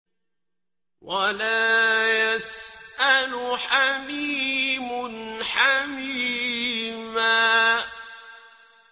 وَلَا يَسْأَلُ حَمِيمٌ حَمِيمًا